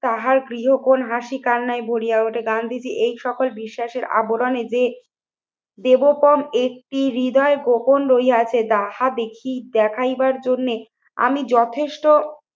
তাহার গৃহকোণ হাসি কান্নায় ভরিয়া ওঠে। গান্ধীজি এই সকল বিশ্বাসের আবরণে যে দেবতম একটি হৃদয় গোপন রইয়াছে যাহা দেখি, দেখাইবার জন্যে আমি যথেষ্ট